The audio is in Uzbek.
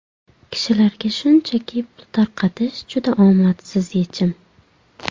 Kishilarga shunchaki pul tarqatish juda omadsiz yechim”.